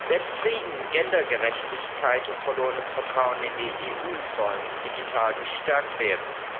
Selbst Frieden, Gendergerechtigkeit und verlorenes Vertrauen in die EU sollen digital gestärkt werden.